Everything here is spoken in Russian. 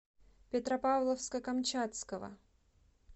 петропавловска камчатского